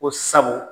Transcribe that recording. Ko sabu